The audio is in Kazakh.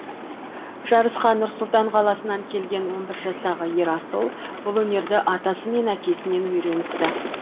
жарысқа нұр сұлтан қаласынан келген он бір жастағы ерасыл бұл өнерді атасы мен әкесінен үйреніпті